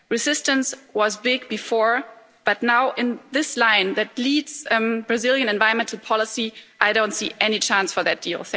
Resistance was big before, but now in this line that leads Brazilian environmental policy, I don't see any chance for that deal.